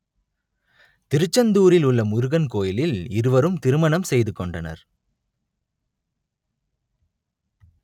திருச்செந்தூரிலுள்ள முருகன் கோவிலில் இருவரும் திருமணம் செய்துகொண்டனர்